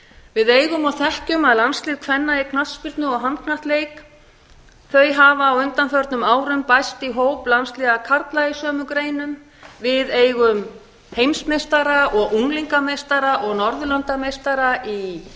við eigum og þekkjum að landslið kvenna í knattspyrnu og handknattleik hafa á undanförnum árum bæst í hóp landsliða karla í sömu greinum við eigum heimsmeistara og unglingameistara og